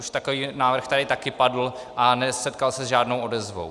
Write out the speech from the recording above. Už takový návrh tady taky padl a nesetkal se s žádnou odezvou.